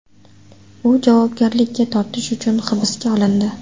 U javobgarlikka tortish uchun hibsga olindi.